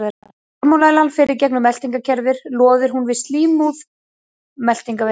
Þegar salmonellan fer í gegnum meltingarkerfið loðir hún við slímhúð meltingarvegarins.